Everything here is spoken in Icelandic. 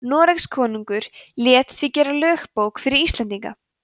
noregskonungur lét því gera lögbók fyrir íslendinga